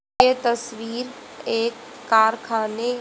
ये तस्वीर एक कारखाने--